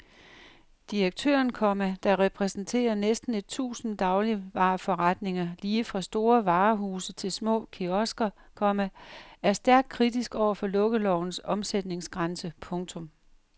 Direktøren, komma der repræsenterer næsten et tusind dagligvareforretninger lige fra store varehuse til små kiosker, komma er stærkt kritisk over for lukkelovens omsætningsgrænse. punktum